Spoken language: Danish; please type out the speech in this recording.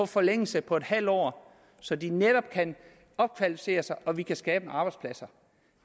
forlængelse på et halvt år så de netop kan opkvalificere sig og vi kan skabe nogle arbejdspladser